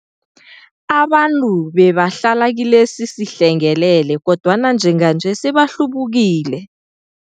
Abantu babehlala kilesi sihlengele kodwana njenganje sebahlubukile.